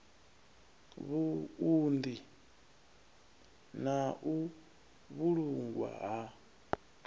vhuunḓi na u vhulungwa ha